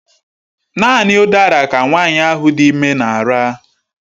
Naanị udara ka nwanyị ahụ dị ime na-ara.